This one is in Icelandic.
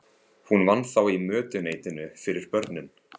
Hún vann þá í mötuneytinu fyrir börnin.